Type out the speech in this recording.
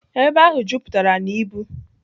Ebe ahụ jupụtara na ibu.